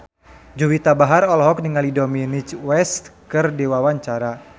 Juwita Bahar olohok ningali Dominic West keur diwawancara